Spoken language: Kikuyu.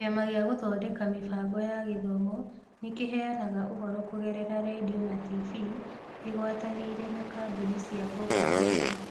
Kĩama gĩa Gũthondeka Mĩbango ya Gĩthomo nĩ kĩheanaga ũhoro kũgerera redio na TV ĩgwatanĩire na kambuni cia gũkũ bũrũri.